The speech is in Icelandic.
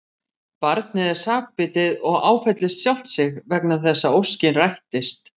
Barnið er sakbitið og áfellist sjálft sig vegna þess að óskin rættist.